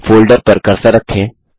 folder पर cursor रखें